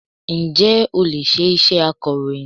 Ǹjẹ́ o lè ṣe iṣẹ́ akọ̀rọ̀yìn?